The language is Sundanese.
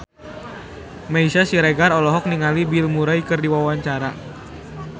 Meisya Siregar olohok ningali Bill Murray keur diwawancara